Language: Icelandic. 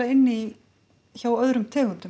inn í hjá öðrum tegundum